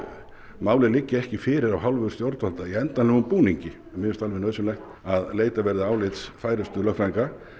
málið liggi ekki fyrir í endanlegum búningi mér finnst alveg nauðsynlegt að leitað verði álits færustu lögfræðinga